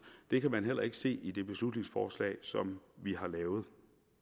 det kan man heller ikke se i det beslutningsforslag som vi har lavet